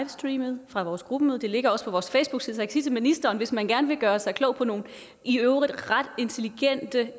streamet fra vores gruppemøde og det ligger også på vores facebookside ministeren at hvis man gerne vil gøre sig klog på nogle i øvrigt ret intelligente